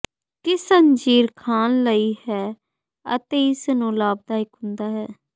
ਕਿਸ ਅੰਜੀਰ ਖਾਣ ਲਈ ਹੈ ਅਤੇ ਇਸ ਨੂੰ ਲਾਭਦਾਇਕ ਹੁੰਦਾ ਹੈ